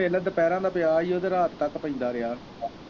ਪਹਿਲੋਂ ਦੁਪਿਹਰਾਂ ਦਾ ਪਿਆ ਹੀ ਤੇ ਰਾਤ ਤੱਕ ਪੈਂਦਾ ਰਿਹਾ।